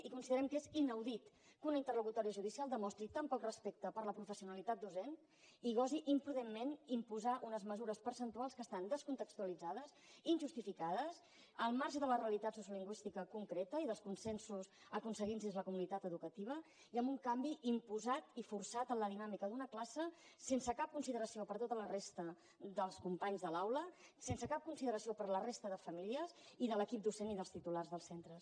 i considerem que és inaudit que una interlocutòria judicial demostri tan poc respecte per la professionalitat docent i gosi imprudentment imposar unes mesures percentuals que estan descontextualitzades injustificades al marge de la realitat sociolingüística concreta i dels consensos aconseguits dins la comunitat educativa i amb un canvi imposat i forçat en la dinàmica d’una classe sense cap consideració per a tota la resta dels companys de l’aula sense cap consideració per a la resta de famílies i de l’equip docent i dels titulars dels centres